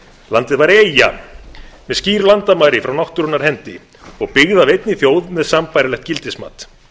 landið væri eyja með skýr landamæri frá náttúrunnar hendi og byggð af einni þjóð með sambærilegt gildismat